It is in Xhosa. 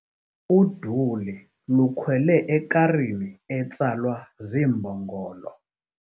Uduli lukhwele ekarini etsalwa ziimbongolo.